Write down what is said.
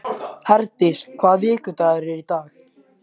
Herdís, hvaða vikudagur er í dag?